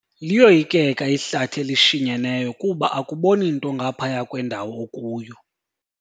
Liyoyikeka ihlathi elishinyeneyo kuba akuboni nto ngaphaya kwendawo okuyo.